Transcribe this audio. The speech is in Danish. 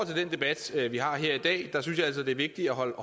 til den debat vi har her i dag synes jeg altså det er vigtigt at holde